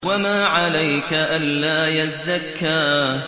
وَمَا عَلَيْكَ أَلَّا يَزَّكَّىٰ